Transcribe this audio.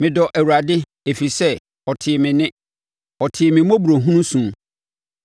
Medɔ Awurade ɛfiri sɛ, ɔtee me nne. Ɔtee me mmɔborɔhunu su.